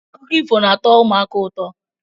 Akụkọ ifo na-atọ ụmụaka ụtọ.